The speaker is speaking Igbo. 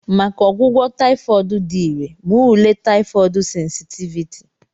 Maka ọgwụgwọ taifod dị irè, mee ule taifod sensitiviti.